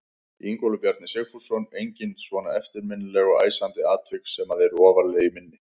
Ingólfur Bjarni Sigfússon: Engin svona eftirminnileg og æsandi atvik sem að eru ofarlega í minni?